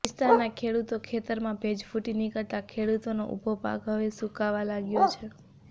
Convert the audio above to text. વિસ્તારના ખેડુતો ખેતરમાં ભેજ ફુટી નિકળતા ખેડુતોનો ઉભો પાક હવે સુકાવા લાગ્યો છે